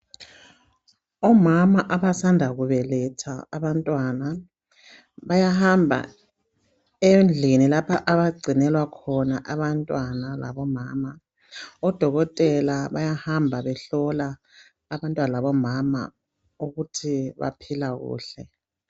Omama abasanda kubeletha abantwana bayahamba endlini lapha abagcinela khona abantwana labomama. Odokotela bayahamba behlola abantwana labomama ukuthi baphila kuhle.